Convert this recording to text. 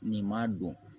Nin ma don